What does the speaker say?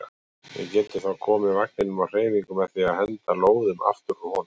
Við getum þá komið vagninum á hreyfingu með því að henda lóðum aftur úr honum.